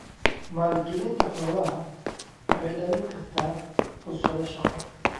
Maalgelinta xoolaha waxay dhalin kartaa fursado shaqo.